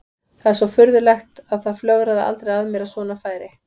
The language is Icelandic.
Það er svo furðulegt en það flögraði aldrei að mér að svona færi.